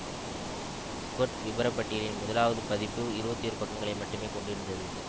squared விபரப்பட்டியலின் முதலாவது பதிப்பு இருபத்தி ஒரு பக்கங்களை மட்டுமே கொண்டிருந்தது